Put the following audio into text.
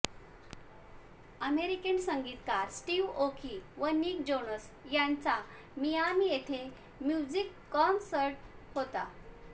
American संगीतकार Steve Aoki व Nick Jonas यांचा मिआमी येथे म्युझिक कॉन्सर्ट होता